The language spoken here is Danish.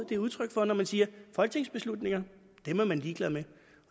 det er udtryk for når man siger at folketingsbeslutninger er man ligeglad med